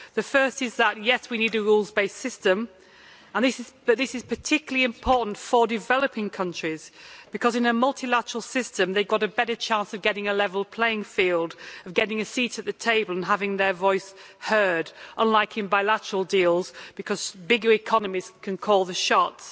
The first is that, yes, we need a rules based system, but this is particularly important for developing countries, because in a multilateral system they've got a better chance of getting a level playing field, of getting a seat at the table and having their voice heard, unlike in bilateral deals where bigger economies can call the shots.